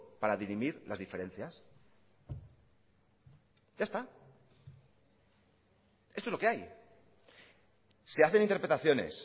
para dirimir las diferencias ya está esto es lo que hay se hacen interpretaciones